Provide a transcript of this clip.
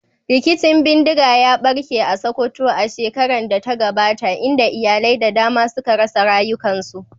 Rikicin bindiga ya barke a Sokoto a shekarar da ta gabata, inda iyalai da dama suka rasa rayukansu.